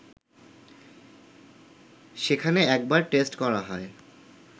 সেখানে একবার টেস্ট করা হয়